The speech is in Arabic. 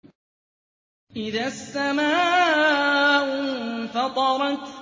إِذَا السَّمَاءُ انفَطَرَتْ